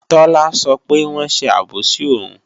Tọ́lá sọ pé wọ́n ṣe àbòsí òun